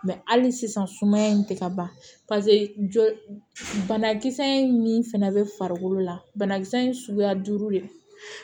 hali sisan sumaya in tɛ ka ban jɔ banakisɛ in min fɛnɛ bɛ farikolo la banakisɛ in suguya duuru de